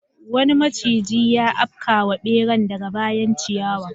Wani maciji ya afkawa beran daga bayan ciyawar.